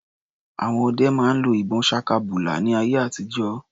Àwọn ọdẹ máa ń lo ìbọn ṣakabùlà ní ayé àtijó.